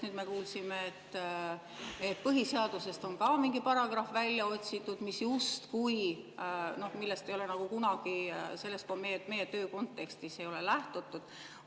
Nüüd me kuulsime, et põhiseadusest on ka mingi paragrahv välja otsitud, millest ei ole kunagi meie töö kontekstis lähtutud.